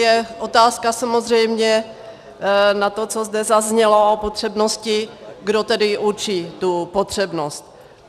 Je otázka samozřejmě na to, co zde zaznělo o potřebnosti, kdo tedy určí tu potřebnost.